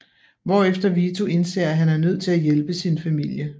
Hvorefter Vito indser at han er nødt til at hjælpe sin familie